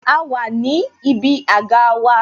A wà ní ibi àga wa